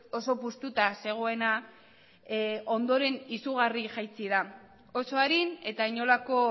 oso puztuta zegoena ondoren izugarri jaitsi da oso arin eta inolako